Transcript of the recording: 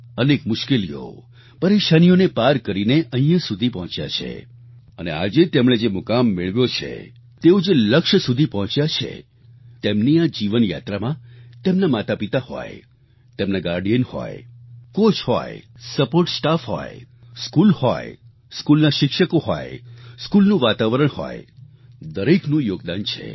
અનેક મુશ્કેલીઓ પરેશાનીઓને પાર કરીને અહીંયા સુધી પહોંચ્યા છે અને આજે તેમણે જે મુકામ મેળવ્યો છે તેઓ જે લક્ષ્ય સુધી પહોંચ્યા છે તેમની આ જીવન યાત્રામાં તેમના માતાપિતા હોય તેમના ગાર્ડિયન હોય કોચ હોય સપોર્ટ સ્ટાફ હોય સ્કૂલ હોય સ્કૂલના શિક્ષકો હોય સ્કૂલનું વાતાવરણ હોય દરેકનું યોગદાન છે